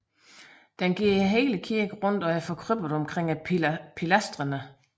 Den går hele kirken rundt og er forkrøbbet omkring pilastrene